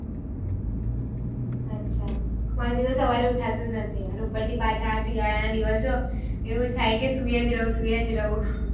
અચ્છા મારા થી તો સવારે ઉઠાથું નથી અને ઉપર થી પાછા શિયાળા ના દિવસે એવું જ થાય કે સુઈજ રહું સુઈજ રહું